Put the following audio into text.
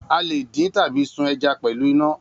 A lè dín tàbí sun ẹja pẹ̀lú iná.